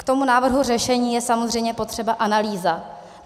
K tomu návrhu řešení je samozřejmě potřeba analýza.